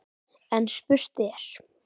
En spurt er: